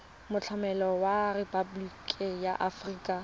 molaotlhomo wa rephaboliki ya aforika